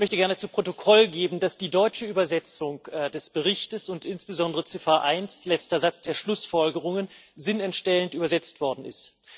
Ich möchte gerne zu Protokoll geben, dass die deutsche Übersetzung des Berichts und insbesondere Ziffer eins, letzter Satz der Schlussfolgerungen, sinnentstellend übersetzt worden ist.